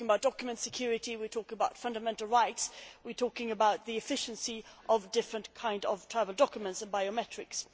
We are talking about document security, we are talking about fundamental rights, we are talking about the efficiency of different kinds of travel documents and biometrics.